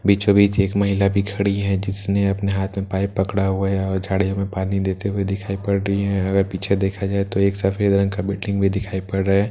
बीचों बीच एक महिला भी खड़ी है जिसने अपने हाथ में पाइप पकड़ा हुआ है और झाड़ियों में पानी देती हुई दिखाई पड़ रही है अगर पीछे देखा जाये तो एक सफ़ेद रंग का बिल्डिंग भी दिखाई पड़ रहा है --